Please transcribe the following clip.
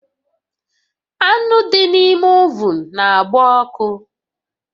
Anụ dị n'ime ovun na-agba ọkụ